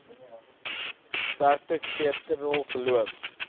sterk kulturele geloof